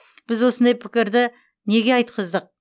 біз осындай пікірді неге айтқыздық